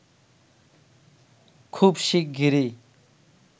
খুব শিগগিরি!